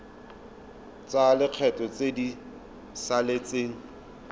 tsa lekgetho tse di saletseng